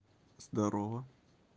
здорово